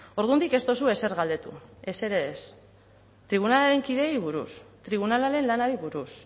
ordundik ez duzue ezer galdetu ezer ere ez tribunalaren kideei buruz tribunalaren lanari buruz